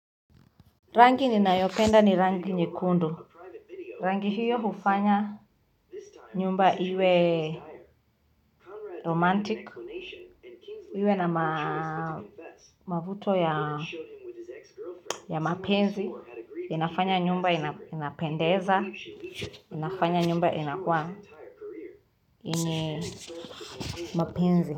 Rangi ninayopenda ni rangi nyekundu. Rangi hio hufanya nyumba iwe romantic iwe na mavuto ya mapenzi inafanya nyumba inapendeza, inafanya nyumba inakuwa yenye mapenzi.